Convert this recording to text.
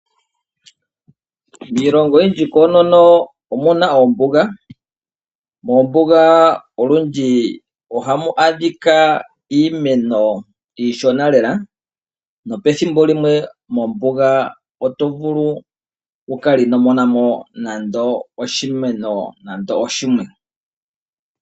Iilongo oyindji koonono omuna oombuga, oombuga olundji ohamu adhika iimeno iishona lela, nopethimbo limwe mombuga otovulu wukala ino monamo nande oshimeno shimwe.